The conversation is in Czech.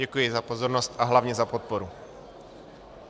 Děkuji za pozornost a hlavně za podporu.